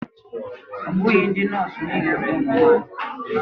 Ọ bụghị ndị nọọsụ niile bụ ụmụ nwanyị.